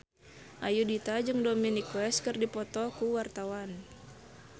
Ayudhita jeung Dominic West keur dipoto ku wartawan